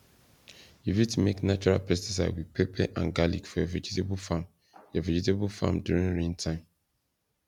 you fit make natural pesticide with pepper and garlic for your vegetable farm your vegetable farm during rain time